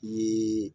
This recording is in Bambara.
Ni